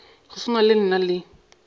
go swana le nna le